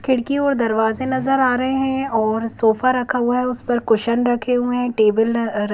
खिड़कियों और दरवाजे नजर आ रहे हैं और सोफा रखा हुआ है उस पर क्वेश्चन रखे हुए हैं टेबल अ --